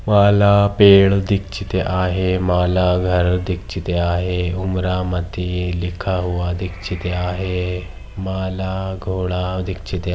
माला पेड दीक्षिते आहे माला घर दीक्षिते आहे उमरा मधी लिखा हुवा दीक्षिते आहे माला घोडा दीक्षिते --